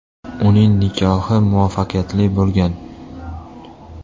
Uning nikohi muvaffaqiyatli bo‘lgan.